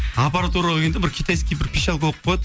аппаратураға келгенде бір китайский бір пищалка қойып кояды